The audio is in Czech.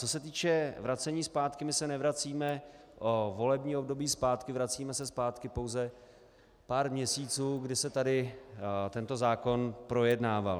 Co se týče vracení zpátky: my se nevracíme o volební období zpátky, vracíme se zpátky pouze pár měsíců, kdy se tady tento zákon projednával.